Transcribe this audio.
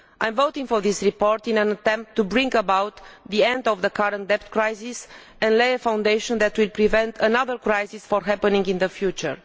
I am voting for this report in an attempt to bring about the end of the current debt crisis and lay a foundation that will prevent another crisis from happening in the future.